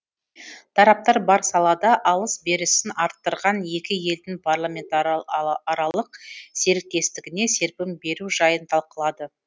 тараптар бар салада алыс берісін арттырған екі елдің парламентаралық серіктестігіне серпін беру жайын талқылады